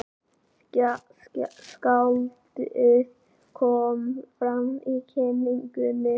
Skáldið kom fram á kynningunni.